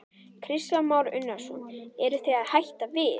Kristján Már Unnarsson: Eruð þið að hætta við?